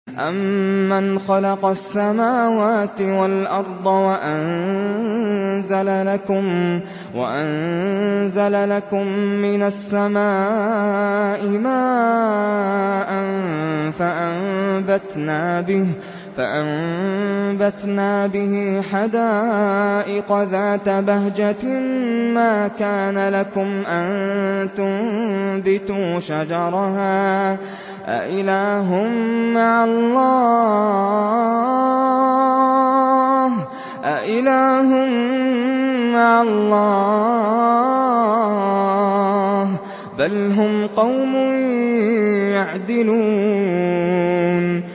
أَمَّنْ خَلَقَ السَّمَاوَاتِ وَالْأَرْضَ وَأَنزَلَ لَكُم مِّنَ السَّمَاءِ مَاءً فَأَنبَتْنَا بِهِ حَدَائِقَ ذَاتَ بَهْجَةٍ مَّا كَانَ لَكُمْ أَن تُنبِتُوا شَجَرَهَا ۗ أَإِلَٰهٌ مَّعَ اللَّهِ ۚ بَلْ هُمْ قَوْمٌ يَعْدِلُونَ